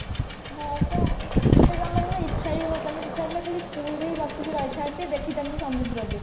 ହଁ ପା ମତେ ଜମାରୁ ନା ଇଚ୍ଛା ହିଁ ହଉ ନଥିଲା ମତେ ଇଚ୍ଛା ହଉଥିଲା ଖାଲି pool ରେ ହିଁ ବସିକି ରହିଥାନ୍ତି ଦେଖି ଥାନ୍ତି ସମୁଦ୍ର କୁ